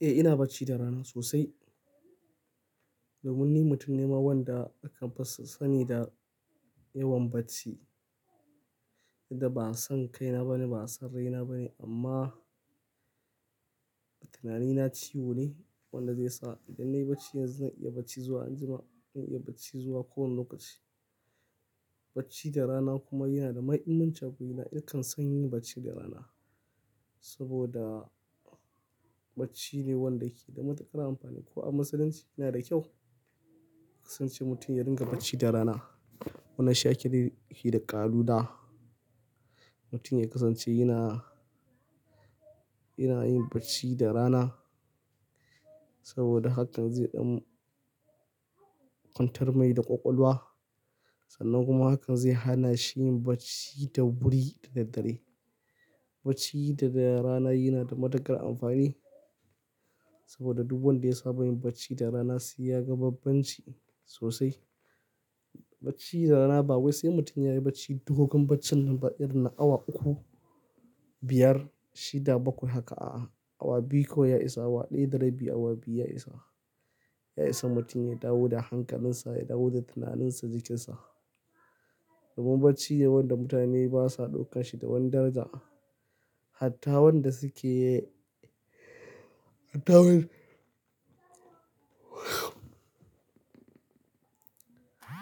Eh ina bacci da rana sosai. Domin ni mutum ne ma wanda akan fi sani da yawan bacci. Da ba san kaina bane, ba san raina bane amma tunanina ciwo ne wanda zai sa idan nayi bacci yanzu zan iya bacci zuwa anjima, zan iya bacci zuwa kowane lokaci. Bacci da rana kuma yana da mahimmanci a wurina, in kan san yin bacci da rana saboda bacci ne wanda yake da matuƙar amfani. Ko a Musulunci yana da kyau kasance mutum ya dinga bacci da rana. Wani shi ake nufi da ƙaluda mutum ya kasance yana, yana yin bacci da rana saboda hakan zai ɗan kwantar mai da ƙwaƙwalwa sannan kuma hakan zai hana shi yin bacci da wuri da daddare. Bacci da rana yana da matuƙar amfani saboda duk wanda ya saba yin bacci da rana zai ya ga bambanci sosai. Bacci da rana ba wai sai mutum ya yi bacci dogon baccin nan irin na awa uku, biyar, shida bakwai haka a'a. Awa biyu kawai ya isa, awa ɗaya da rabi, awa biyu ya isa. Ya isa mutum ya dawo da hankalinsa, ya dawo da tunaninsa, jikinsa. Domin bacci ne wanda mutane basa ɗaukan shi da wani daraja. Hatta wanda suke, hatta wan--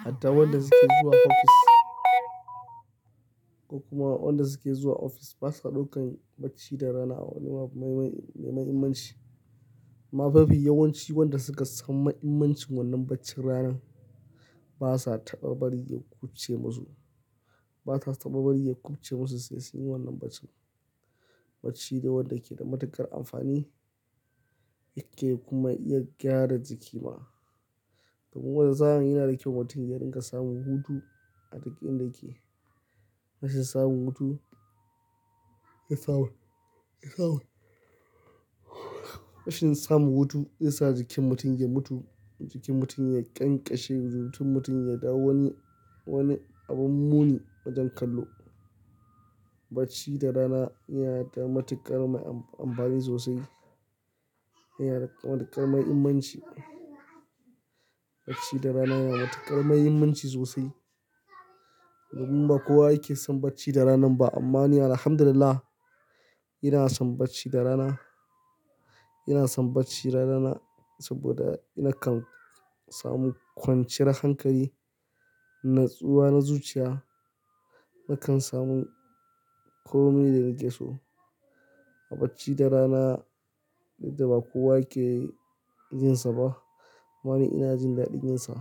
hatta wanda suke zuwa ofis ko kuma wanda suke zuwa ofis basa ɗaukan bacci da rana wani mai, mai, mai muhimmanci. Amma mafi yawanci wanda suka san mahimmancin wannan bacci ranan basa taɓa bari ya kuɓuce musu. Basa taɓa bari ya kubce musu sai sun yi wannan bacci. Bacci ne wanda ke da matuƙar amfani yake kuma iya gyara jiki ma. Domin wata sa'in yana da kyau mutum ya dinga samun hutu a duk inda yake. Rashin samun hutu, rashin samun hutu zai sa jikin mutum ya mutu, jikin mutum ya ƙyanƙashe, jikin mutum ya dawo wani, wani abin muni wajen kallo. Bacci da rana yana da matuƙar ma amfani sosai. Yana da matuƙar mahimmanci. Bacci da rana yana da matuƙar mahimmanci sosai. Domin ba kowa yake son bacci da rana ba amma ni alhamdulillah ina son bacci da rana. Ina son bacci da rana saboda nakan samu kwanciyar hankali, natsuwa na zuciya. Nakan samu komai da nake so. A bacci da rana dukda ba kowa ke jin sa ba. Amma ni ina jin daɗin yin sa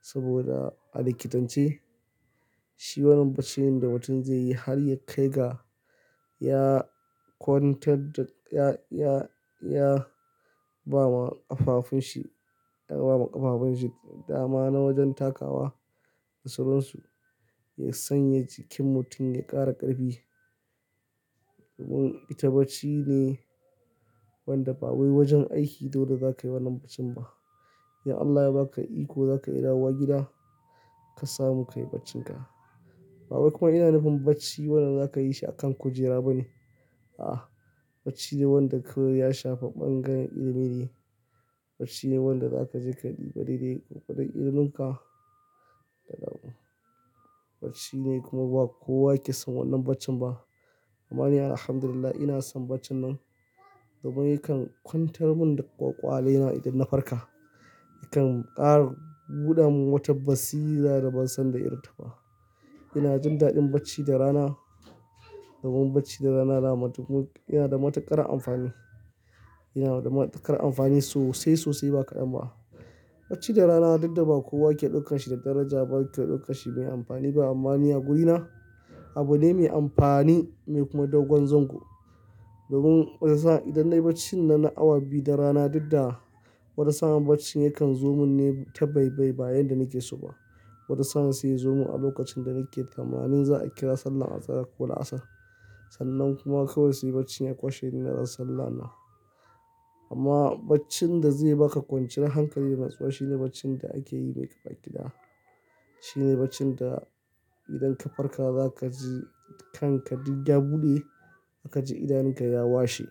saboda a likitance shi wannan bacci ne da mutum zai yi har ya kai ga ya kwantar da, ya, ya, ya ba ma ƙafafunshi, ya ba ma ƙafafunshi dama na wajen takawa da suransu. Ya sanya jikin mutum ya ƙara ƙarfi. Domin ita bacci ne wanda ba wai wajen aiki dole za ka yi wannan bacci ba. Idan Allah ya ba ka iko za ka iya dawowa gida ka samu ka yi baccinka. Ba wai kuma yana nufin bacci wannan za ka yi shi a kan kujera bane. A'a! Bacci ne wanda kawai ya shafi ɓangaren ilimi ne. Bacci ne wanda za ka ji ka ɗiba dai dai gwargwadom iliminka. Bacci ne kuma ba kowa ke son wannan bacci ba. Amma ni alhamdulillah ina son baccin nan domin yakan kwantar mun da ƙwaƙwalina idan na farka. Yakan ƙara buɗa man wata basira da ban san da irin ta ba. Ina jin daɗin bacci da rana domin bacci da rana dama duk, yana da matuƙar amfani. Yana da matuƙar amfani sosai, sosai ba kaɗan ba. Bacci da rana duk da ba kowa ke ɗaukan shi da daraja ba. Yake ɗaukan shi mai amfani ba amma ni a gurina abu ne mai amfani mai kuma dogon zango. Domin wata sa'a idan nayi bacci na na awa biyu da rana duk da, wata sa'a baccin yakan zomu ne ta baibai ba yanda nake so ba. Wata sa'a sai ya zomu a lokacin da nake tsamannin za a kira sallar Azalar ko La'asar. Sannan kuma kawai sai baccin ya ƙwashe ni na rasa sallah na. Amma baccin da zai ba ka kwanciyar hankali da natsuwa shine baccin da ake yi mai kakagida. Shine baccin da idan ka farka za ka ji kanka duk ya buɗe aka ji idanun ka ya washe.